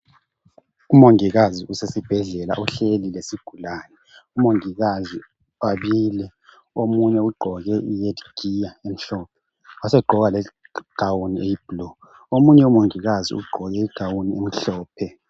Umongikazi usesibhedlela uhleli kuzigulane. Omongikazi babili, omunye ugqoke i"head-gear" emhlophe wasegqoka i"gown" eyi"blue".Omunye umongikazi ugqoke i"gown" emhlophe.